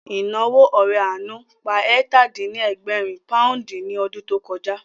Ìnáwó ore àánú pa ẹ̀tà-dín-ní-ẹgbẹ̀rin pòúndì ní ọdún tó kọjá